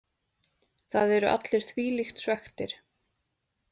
Það eru allir þvílíkt svekktir.